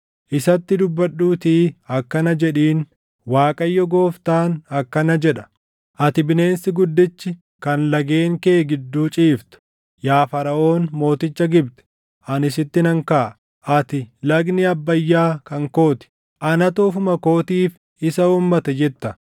Isatti dubbadhuutii akkana jedhiin: ‘ Waaqayyo Gooftaan akkana jedha: “ ‘Ati bineensi guddichi, kan lageen kee gidduu ciiftu, yaa Faraʼoon mooticha Gibxi, ani sitti nan kaʼa. Ati, “Lagni Abbayyaa kan koo ti; anatu ofuma kootiif isa uummate” jetta.